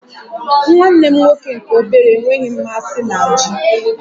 Nwanne m nwoke nke obere enweghị mmasị na Ji